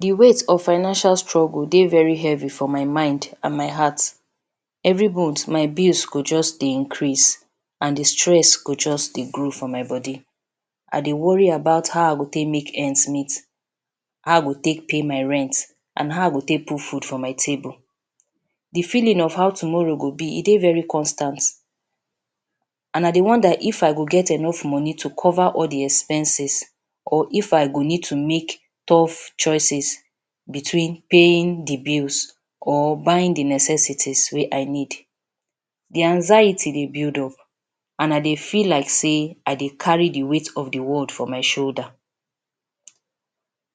Di weight of financial struggle dey very heavy for my mind and my heart evri months my bills go just dey increase and di stress go just dey grow for my body I dey worry about how i go take make ends meet. How I go take pay my rents and how I go take put foods for my table. Di feeling of how tomorrow go be e dey very constant and I dey wonder if I go get enough money to cover di expenses or if I go need to make tough choices between paying di bills or buying di necessity wey I need. Di anxiety dey build up and I dey feel like say I dey carry di weight of di world for my sholda.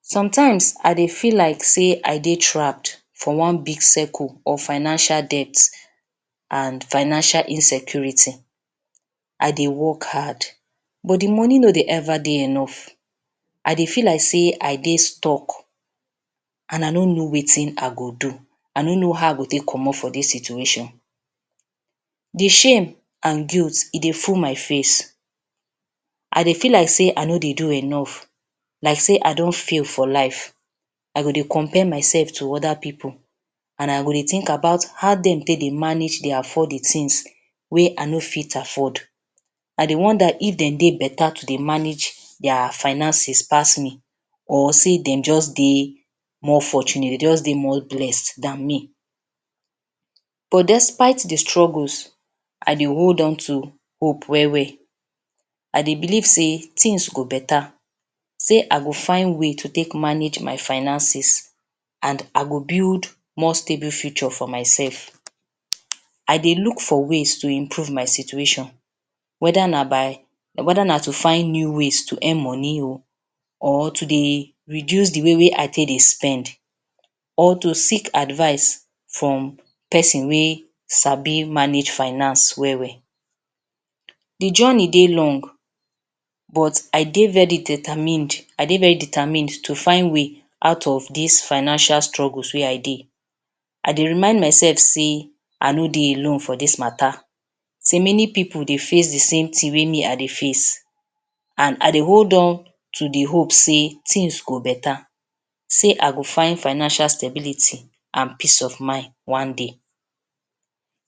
Sometimes I dey feel like say I dey trapped for one big circle of financial debts and financial insecurity, I dey work hard but di money no dey ever dey enough. I dey feel like say I dey stuck and I no know wetin I go do. I no know hoe I go take comot for dis situation. Di shame and guilt, e dey full my face I dey feel like say I no dey do enough like say I don fail for life. I go dey compare mysef to oda pipu, and I go dey think about how dem take dey manage de afford di tins wey I no fit afford. I dey wonder if dem dey betta yo dey manage dia finances pass me or say dem just de more fortunate pass me or dem just dey more blessed dan me. But despite di struggles, I dey hold on to hope wel wel, I de believe say tins go betta, say I go fund ways to take manage my finances and I go build more stable futures for my sef. I dey look for ways to improve my situation weda na to find new ways to earn money or to dey reduce di way wey I take dey spend, or to seek advice from pesin wey sabi manage finance wel wel. Di journey dey long but I dey very determined to find way out of dis financial struggles wey I de. I dey remind mysef sey I no de alone foe dis matta sey many pipu sey face di same tin wey me I dey face and I dey hold on to di hope say tins go betta, sey I go find financial stability and peace of mind one day.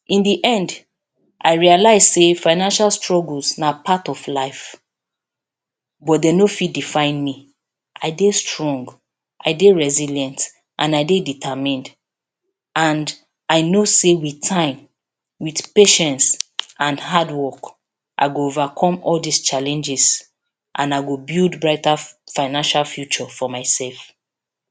In di end I realise say financial struggles na part of life but dem no fit define me, I de strong I dey resilient and I dey determined and I know say wit time with patience and hard work I go overcome all dis challenges and I go build brighter financial future for my sef.